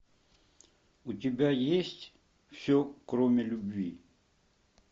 у тебя есть все кроме любви